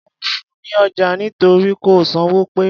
Mí ò fun ní ọjà nítorí kò san owó pe.